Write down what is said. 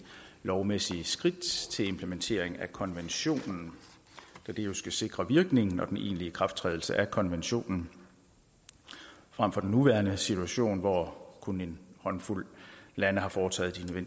lovmæssige skridt til implementering af konventionen da det jo skal sikre virkningen og den egentlige ikrafttrædelse af konventionen frem for den nuværende situation hvor kun en håndfuld lande har foretaget